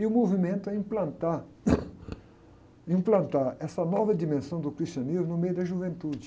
E o movimento é implantar, implantar essa nova dimensão do cristianismo no meio da juventude.